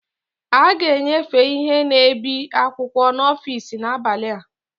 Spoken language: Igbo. A ga-enyefe ihe na-ebi akwụkwọ n'ọfịs n'abalị a